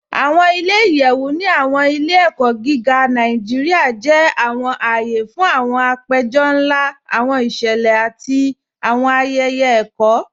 Awọn ilẹ̀-iyẹ̀wu ni awọn ilẹ̀-ẹ̀kọ gígá Nàìjíríà jẹ́ awọn ààyè fún awọn àpẹ̀jọ̀ nlá, awọn ìṣẹlẹ̀, àti awọn ayẹyẹ ẹ̀kọ.